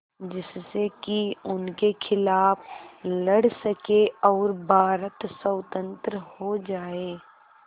जिससे कि उनके खिलाफ़ लड़ सकें और भारत स्वतंत्र हो जाये